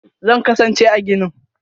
Zan kasance a ginin.